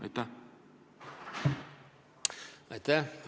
Aitäh!